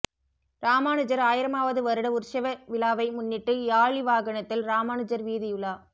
ராமானுஜர் ஆயிரமாவது வருட உற்சவ விழாவை முன்னிட்டு யாளி வாகனத்தில் ராமானுஜர் வீதியுலா